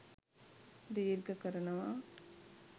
දීර්ඝ කරනවා